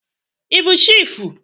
Ị bụ chiịfụ?